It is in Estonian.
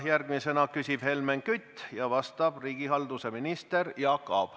Järgmisena küsib Helmen Kütt ja vastab riigihalduse minister Jaak Aab.